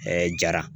jara